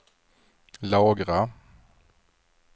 lagra